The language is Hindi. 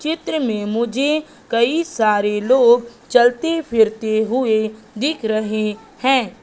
चित्र में मुझे कई सारे लोग चलते फिरते हुए दिख रहे हैं।